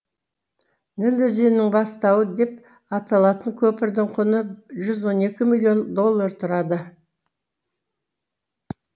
ніл өзенінің бастауы деп аталатын көпірдің құны жүз он екі миллион доллар тұрады